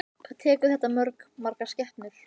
Hvað tekur þetta mörg, margar skepnur?